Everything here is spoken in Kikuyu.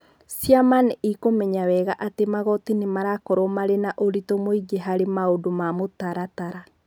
Ciama nĩ ikũmenya wega atĩ magooti nĩ marakorwo marĩ na ũritũ mũingĩ mũno harĩ maũndũ ma mũtaratara.